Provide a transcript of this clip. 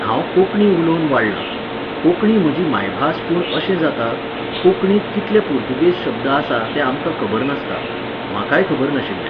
हांव कोंकणी उलोवन वाडलां. कोंकणी म्हजी मायभास पूण अशें जाता, कोंकणींत कितले पुर्तुगेज शब्द आसा ते आमकां खबर नासता. म्हाकाय खबर नाशिल्लें.